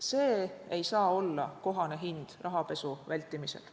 See ei saa olla kohane hind rahapesu vältimisel.